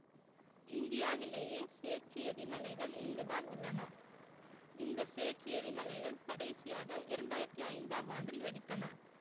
இந்தியாவிலேயே சேற்று எரிமலைகள் இங்கு தான் உள்ளன இந்த சேற்று எரிமலைகள் கடைசியாக இரண்டு ஆயிரத்தி ஐந்தாம் ஆண்டில் வெடித்தன